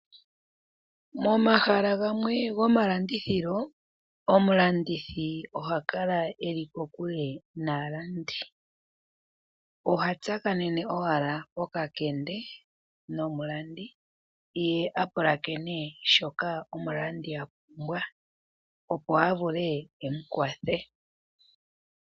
Momahala gamwe gomalandithilo, omulandithi oha kala e li kokule naalandi. Oha tsakanene owala pokakende nomulandi, ye a pulakene shoka omulandi a pumbwa, opo a vule e mu kwathele.